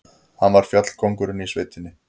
Hann var fjallkóngurinn í sveitinni.